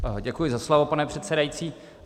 Děkuji za slovo, pane předsedající.